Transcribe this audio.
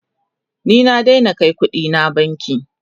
ni na Daina Kai ƙuɗina banki